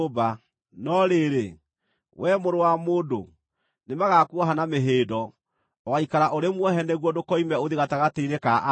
No rĩrĩ, wee mũrũ-wa-mũndũ, nĩmagakuoha na mĩhĩndo; ũgaikara ũrĩ muohe nĩguo ndũkoime ũthiĩ gatagatĩ-inĩ ka andũ.